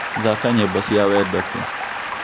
thaka nyīmbo cīa wendo tu